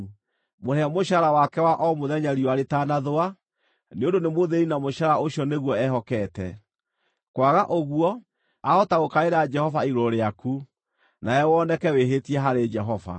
Mũrĩhe mũcaara wake wa o mũthenya riũa rĩtanathũa, nĩ ũndũ nĩ mũthĩĩni na mũcaara ũcio nĩguo ehokete. Kwaga ũguo, aahota gũkaĩra Jehova igũrũ rĩaku, nawe woneke wĩhĩtie harĩ Jehova.